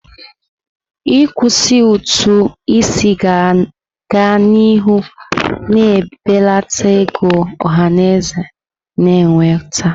Ịkwụsị ụtụ isi ga-aga n'ihu na-ebelata ego ọhaneze na-enweta.